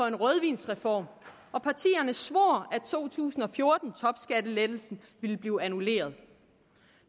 en rødvinsreform og partierne svor at to tusind og fjorten topskattelettelsen ville blive annulleret